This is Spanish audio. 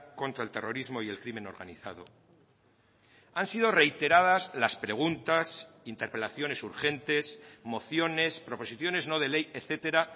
contra el terrorismo y el crimen organizado han sido reiteradas las preguntas interpelaciones urgentes mociones proposiciones no de ley etcétera